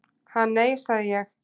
"""Ha, nei, sagði ég."""